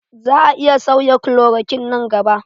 Za a iya sauya klorokwin nan gaba